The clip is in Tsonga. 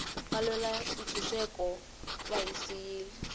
valwela ntshuxeko va hi siyile